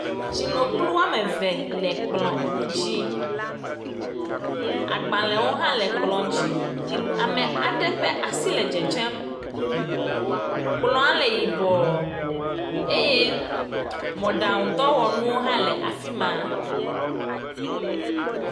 tsinokplu woame ve le kplɔ̃a dzi agbalēwo hã le kplɔ̃ dzi ame aɖe ƒa'si le dzedzem kplɔa le yibɔɔ eye mɔɖaŋu dɔwɔŋuwo hã le afimá